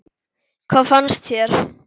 Hvað fannst þér?